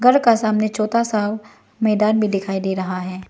घर का सामने छोटा सा मैदान भी डिखाई डे रहा है।